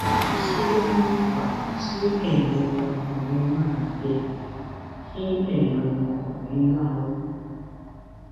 kí ló máa ń fa kí ẹ̀yìn ọmọkùnrin máa gbẹ kí ẹ̀yìn ọmọkùnrin máa wú